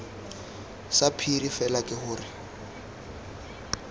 sa phiri fela ke gore